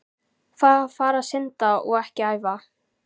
Fara að synda og ekki æfa?